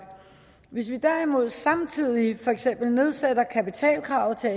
hvis vi derimod samtidig for eksempel nedsætter kapitalkravet til